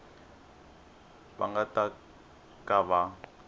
va nga ta ka va